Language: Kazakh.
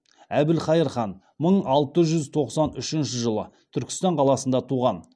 әбілқайыр хан мың алты жүз тоқсан үшінші жылы түркістан қаласында туған